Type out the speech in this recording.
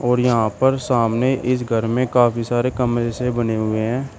और यहां पर सामने इस घर में काफी सारे कमरे से बने हुए हैं।